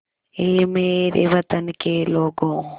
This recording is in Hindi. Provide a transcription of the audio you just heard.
ऐ मेरे वतन के लोगों